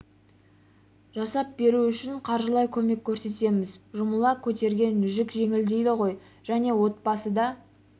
жасап беру үшін қаржылай көмек көрсетеміз жұмыла көтерген жүк жеңіл дейді ғой және отбасы да